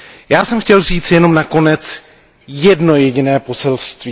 Já jsem chtěl říci jenom na konec jedno jediné poselství.